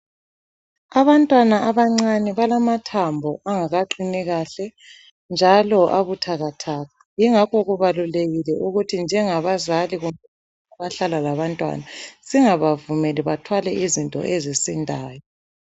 Abantwana abancane balamathambo angakaqini kahle njalo abuthakathaka, yingakho kubalulekile ukuthi njengabazali abahlala labantwana singabavumeli bathwale izinto ezisindayo.